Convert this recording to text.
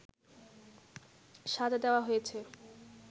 সাজা দেওয়া হয়েছে